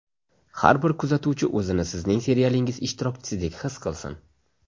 Har bir kuzatuvchi o‘zini sizning serialingiz ishtirokchisidek his qilsin.